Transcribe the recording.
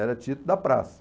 era título da praça.